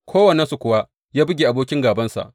Kowannensu kuwa ya buge abokin gābansa.